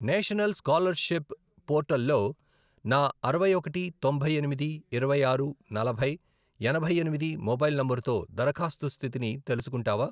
National scholarship పోర్టల్లో నా అరవై ఒకటి, తొంభై ఎనిమిది, ఇరవై ఆరు, నలభై, ఎనభై ఎనిమిది, మొబైల్ నంబరుతో దరఖాస్తు స్థితిని తెలుసుకుంటావా?